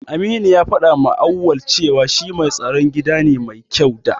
Aminu ya faɗawa Auwal cewa shi mai tsaron gida ne mai kyau da.